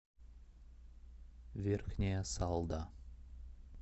верхняя салда